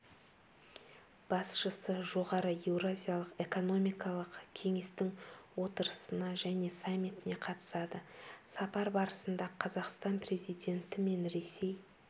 басшысы жоғары еуразиялық экономикалық кеңестің отырысына және саммитіне қатысады сапар барысында қазақстан президенті мен ресей